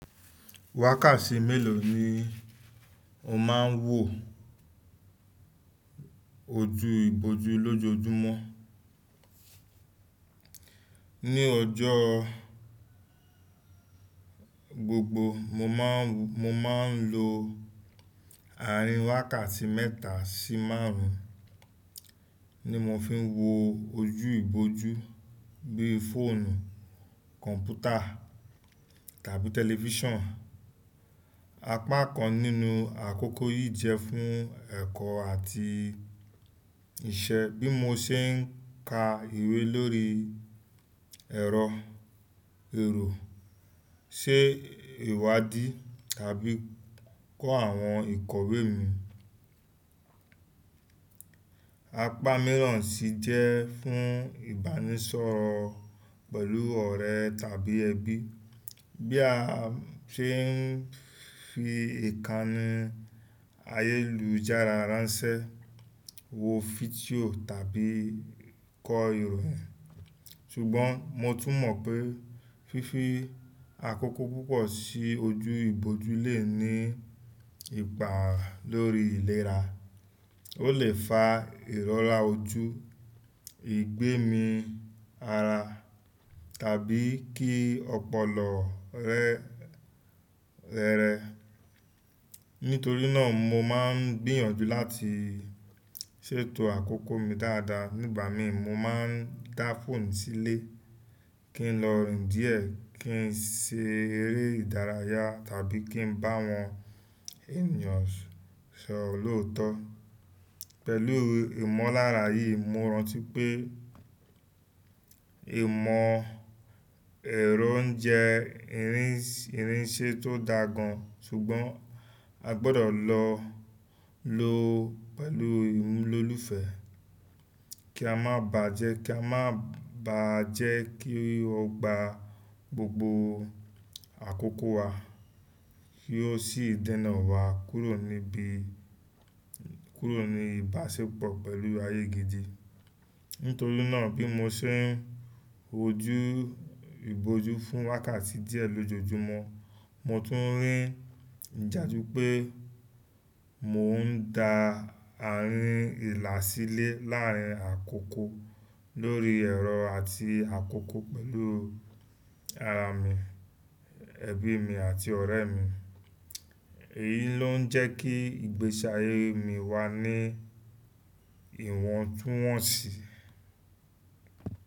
Wákàtí mélòó ni o máa ń wò ojú ìbòjú lójoojúmọ́? Ní ọjọ́ gbogbo mo máa ń, mo máa ń lo àárín wákàtí mẹ́ta sí márùn-ún, ni mo fi ń wò ojú ìbòjú bí i fóònù, kọ̀mpútà tàbí tẹlifíṣàn. Apá kan nínú àkókò yìí jẹ́ fún ẹ̀kọ́ àti iṣẹ́ bí mo ṣe ń ka ìwé lórí ẹ̀rọ èrò, ṣe ìwádí tàbí kọ́ àwọn ìkọ̀wé mi. Apá mìíràn sì jẹ́ fún ìbánisọ̀rọ̀ pẹ̀lú ọ̀rẹ́ tàbí ẹbí, bí a ṣe ń fi ìkànnì ayélujára ránṣẹ́, wo fídíò tàbí kọ ìwé. Ṣùgbọ́n mo tún mọ̀ pé fífi àkókò púpọ̀ sí ojú ìbòjú lè ní ipa lórí ìlera. Ó lè fa ìrọ́ra ojú, ìgbẹ́mi ara tàbí kí ọpọlọ rẹ rẹrẹ. Nítorí náà mo máa ń gbìyànjú láti ṣètò àkókò mi dáadáa. Nígbà mìíràn mo máa ń dá fóònù sílẹ̀ kí n lọ rìn díẹ̀, kí n ṣe eré ìdárayá tàbí kí n bá wọn ènìyàn sọ̀rọ̀ lóòtọ́. Pẹ̀lú ìmọ̀lára yìí, mo rántí pé ìmọ̀ ẹ̀rọ ń jẹ́ irinṣẹ́ tó daá gan, ṣùgbọ́n a gbọdọ̀ lọ lò ó pẹ̀lú ìmúlò olùfẹ́ kí a má bà á jẹ́, kí a má bà á jẹ́ kí ó gba gbogbo àkókò wa kí ó sì dènà wa kúrò níbi, kúrò ní ìbáṣepọ̀ pẹ̀lú ayé gidi. Nítorí náà bí mo ṣe ń wojú ìbòjú fún wákàtí díẹ̀ lójoojúmọ́, mo tún rí ìdàjú pé mò ń da àárín ìlà sílẹ̀ láàrin àkókò lórí ẹ̀rọ àti àkókò pẹ̀lú ara mi, ẹbí mi àti ọ̀rẹ́ mi. Èyí ló ń jẹ́ kí ìgbésí ayé mi wà ní ìwọ̀ntúnwọ̀nsì.